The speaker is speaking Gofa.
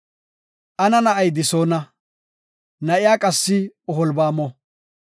Ana na7ay Disoona; na7iya qassi Oholbaamo.